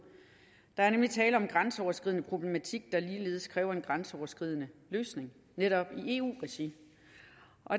der er nemlig tale om en grænseoverskridende problematik der ligeledes kræver en grænseoverskridende løsning netop i eu regi